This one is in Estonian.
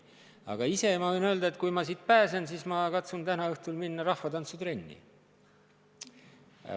Aga enda kohta võin öelda, et kui ma siit pääsen, siis kavatsen täna õhtul minna rahvatantsutrenni.